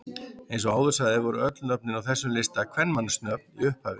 Eins og áður sagði voru öll nöfnin á þessum listum kvenmannsnöfn í upphafi.